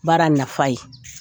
Baara nafa ye